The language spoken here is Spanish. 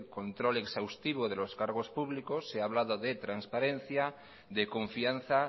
control exhaustivo de los cargos públicos se ha hablado de transparencia de confianza